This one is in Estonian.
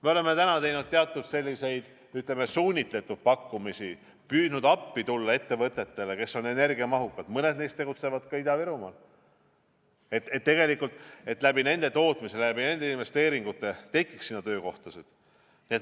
Me oleme teinud teatud selliseid, ütleme, suunitletud pakkumisi, püüdnud energiamahukatele ettevõtetele appi tulla – mõned neist tegutsevad ka Ida-Virumaal –, et nende tootmise abil, nende investeeringute abil tekiks sinna töökohtasid.